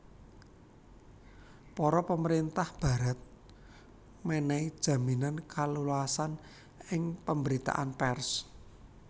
Para pamerintahan Barat menehi jaminan kaleluasan ing pemberitaan pers